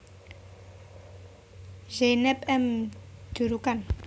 Zeynep M Durukan